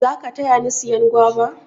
za ka taya ni siyan guava?